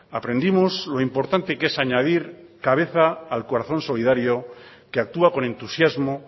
aprendimos lo importante que es añadir cabeza al corazón solidario que actúa con entusiasmo